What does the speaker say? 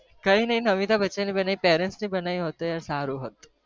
કયી નહી અમિતાબ બચ્ચન ની બન્યી મમ્મી પાપા ની બન્યી હોત તો સારું હોત